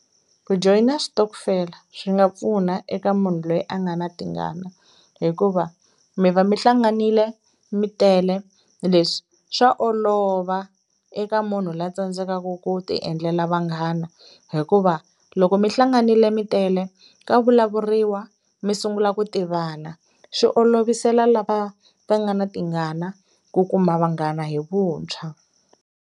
Ku joyina switokofela swi nga pfuna eka munhu loyi a nga na tingana hikuva mi va mi hlanganile mi tele leswi swa olova eka munhu la tsandzekaku ku ti endlela vanghana hikuva loko mihlanganile mi tele ka vulavuriwa mi sungula ku tivana swi olovisela lava va nga na tingana ku kuma vanghana hi vuntshwa.